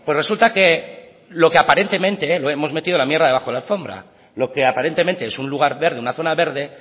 resulta que lo que aparentemente lo hemos metido la mierda debajo de la alfombra lo que aparentemente es un lugar verde una zona verde